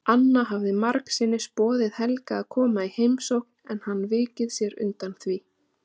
Anna hafði margsinnis boðið Helga að koma í heimsókn en hann vikið sér undan því.